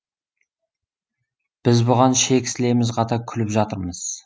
біз бұған ішек сілеміз қата күліп жатырмыз